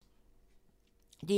DR1